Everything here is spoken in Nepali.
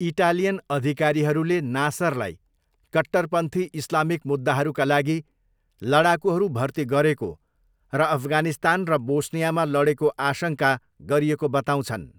इटालियन अधिकारीहरूले नासरलाई कट्टरपन्थी इस्लामिक मुद्दाहरूका लागि लडाकुहरू भर्ती गरेको र अफगानिस्तान र बोस्नियामा लडेको आशङ्का गरिएको बताउँछन्।